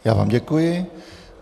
Já vám děkuji.